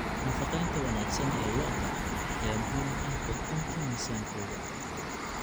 Nafaqaynta wanaagsan ee lo'da lo'da ayaa muhiim u ah kordhinta miisaankooda.